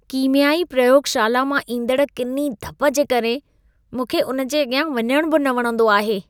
कीम्याई प्रयोगशाला मां ईंदड़ किनी धप जे करे मूंखे उन जे अॻियां वञण बि न वणंदो आहे।